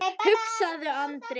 hugsaði Andri.